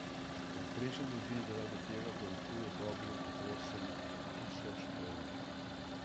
Povprečna družina zaradi tega dolguje dobrih osem tisoč dolarjev.